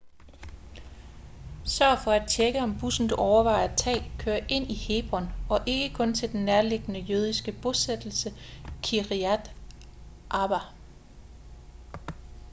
sørg for at tjekke om bussen du overvejer at tage kører ind i hebron og ikke kun til den nærliggende jødiske bosættelse kiryat arba